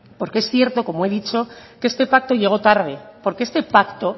porque es cierto como he dicho que este pacto llegó tarde porque este pacto